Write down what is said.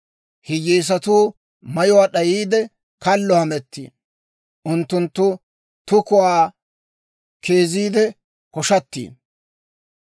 Hiyyeesatuu mayuwaa d'ayiide, kallo hamettiino; Unttunttu tukuwaa keeziidde koshshatiino.